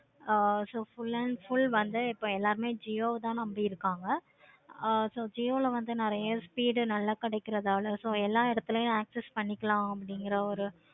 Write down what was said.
so full and full வந்து எல்லாருமே jio வ தன நம்பி இருக்காங்க. ஆஹ் jio ல வந்து நெறைய speed நல்ல கிடைக்குறனாள so எல்லா எடத்துலையும் access பண்ணிக்கலாம் அப்படிங்கிற ஒரு